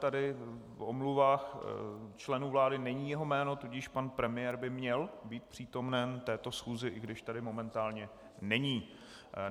Tady v omluvách členů vlády není jeho jméno, tudíž pan premiér by měl být přítomen této schůzi, i když tady momentálně není.